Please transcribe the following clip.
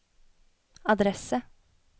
adresse